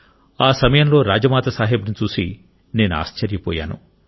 ఆ సమయంలో రాజ్మాతా సాహెబ్ను చూసి నేను ఆశ్చర్యపోయాను